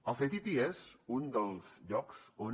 el ctti és un dels llocs on